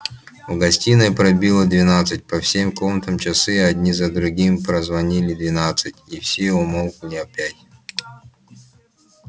в гостиной пробило двенадцать по всем комнатам часы одни за другими прозвонили двенадцать и все умолкли опять